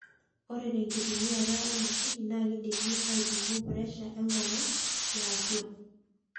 Ore tenkitumiata emashini naa keidimi aipimo presha enkong'u yaatua.